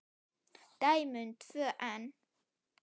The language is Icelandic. Dæmi um tvö enn